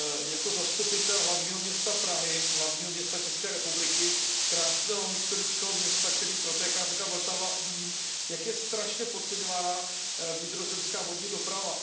Jako zastupitel hlavního města Prahy, hlavního města České republiky, krásného, historického města, kterým protéká řeka Vltava, vím, jak je strašně podceňovaná vnitrozemská vodní doprava.